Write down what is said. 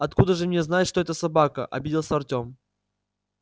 откуда же мне знать что это собака обиделся артем